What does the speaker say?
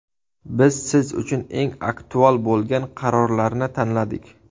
Biz siz uchun eng aktual bo‘lgan qarorlarni tanladik.